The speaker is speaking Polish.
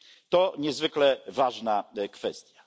To niezwykle ważna kwestia.